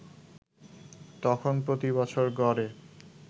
তখন প্রতিবছর গড়ে